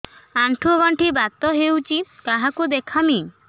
ଆଣ୍ଠୁ ଗଣ୍ଠି ବାତ ହେଇଚି କାହାକୁ ଦେଖାମି